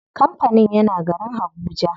Kampanin yana garin habuja.